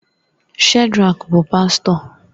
Shedrack bụ pastọ